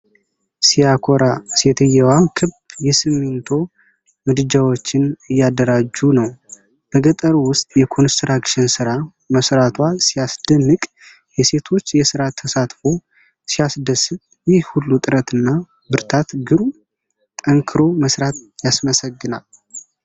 ሲያኮራ! ሴትየዋ ክብ የሲሚንቶ ምድጃዎችን እያደራጁ ነው። በገጠር ውስጥ የኮንስትራክሽን ሥራ መሥራቷ ሲያስደንቅ! የሴቶች የሥራ ተሳትፎ ሲያስደስት! ይህ ሁሉ ጥረትና ብርታት ግሩም! ጠንክሮ መሥራት ያስመሰግናል!